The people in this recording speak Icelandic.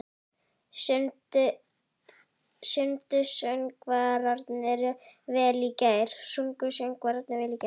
Sungu söngvararnir vel í gær?